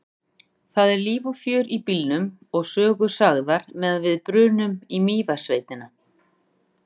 Það er líf og fjör í bílnum og sögur sagðar meðan við brunum í Mývatnssveitina.